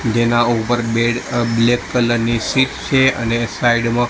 જેના ઉપર બેડ અ બ્લેક કલર ની સીટ છે અને સાઈડ માં--